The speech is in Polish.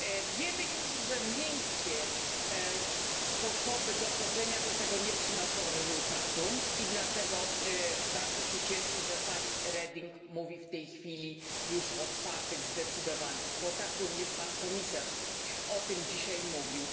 Wiemy już, że miękkie sposoby dochodzenia do tego nie przynoszą rezultatu i dlatego bardzo się cieszę, że pani Reding mówi w tej chwili już o twardych, zdecydowanych kwotach, również pan komisarz o tym dzisiaj mówił.